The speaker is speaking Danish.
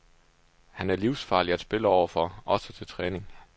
Han er livsfarlig at spille overfor, også til træning.